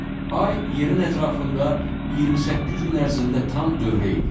Ay yerin ətrafında 28 gün ərzində tam dövrə eləyir.